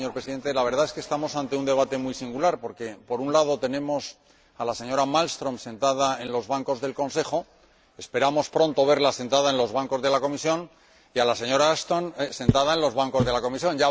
Señor Presidente, la verdad es que estamos ante un debate muy singular porque, por un lado, tenemos a la señora Malmström sentada en los bancos del Consejo esperamos verla pronto sentada en los bancos de la Comisión y a la señora Ashton sentada en los bancos de la Comisión.